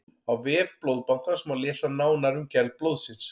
á vef blóðbankans má lesa nánar um gerð blóðsins